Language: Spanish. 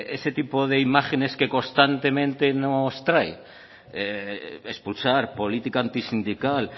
ese tipo de imágenes que constantemente nos trae expulsar política antisindical